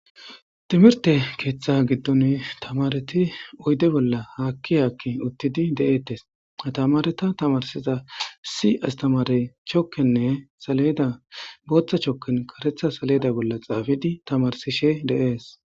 timirtte keeththa giddon tamareti oyde bolla hakki hakki uttidi de'etees atamareta tamarsiza issi astamarey chokenne saledda boththa choken kareththa saledda bolla xafidi tamarsishshe de'ees